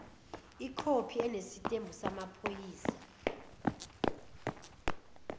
ikhophi enesitembu samaphoyisa